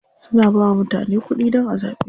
Suna bawa mutane kuɗi dan a zaɓe su.